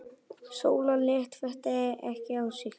Sóla lét þetta ekki á sig fá.